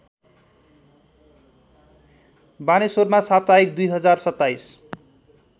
बानेश्वरमा साप्ताहिक २०२७